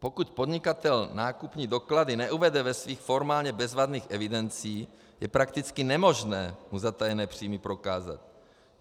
Pokud podnikatel nákupní doklady neuvede ve svých formálně bezvadných evidencích, je prakticky nemožné mu zatajené příjmy prokázat.